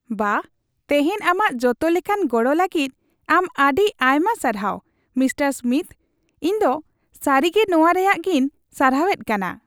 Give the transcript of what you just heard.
ᱵᱟᱦ, ᱛᱮᱦᱮᱧ ᱟᱢᱟᱜ ᱡᱚᱛᱚ ᱞᱮᱠᱟᱱ ᱜᱚᱲᱚ ᱞᱟᱹᱜᱤᱫ ᱟᱢ ᱟᱹᱰᱤ ᱟᱭᱢᱟ ᱥᱟᱨᱦᱟᱣ, ᱢᱤᱥᱴᱟᱨ ᱥᱢᱤᱛᱷ ᱾ ᱤᱧ ᱫᱚ ᱥᱟᱹᱨᱤᱜᱮ ᱱᱚᱣᱟ ᱨᱮᱭᱟᱜᱤᱧ ᱥᱟᱨᱦᱟᱣᱮᱫ ᱠᱟᱱᱟ !